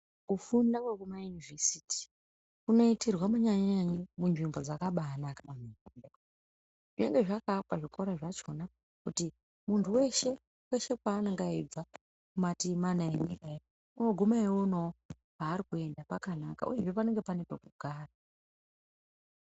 Kufunda kwekumayunivhesiti, kunoitirwa kunyanya-nyanya munzvimbo dzakabaanaka. Zvinenge zvakaakwa zvikora zvachona, kuti muntu weshe, kweshe kweanonga eibva kumativimana enyika, unoguma eionawo paari kuenda pakanaka, uyezve panenge pane pokugara.